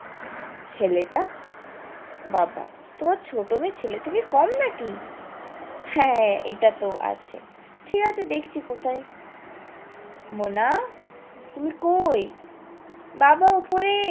ছেলেটা? বাবা তোমার ছোট মেয়ে ছেলে থেকে কম নাকি হ্যাঁ এইটা তো আছে ঠিক আছে দেখছি কোথায় মোনা তুমি কোই? বাবা ওপরে